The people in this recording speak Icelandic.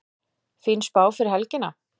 Fín spá fyrir helgina